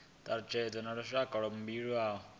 thalutshedzo na lushaka lwa mbilaelo